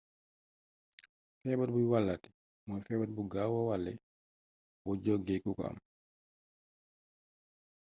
féebar buy wallaaté mooy fébar bu gaawa wallé bo jogé kuko am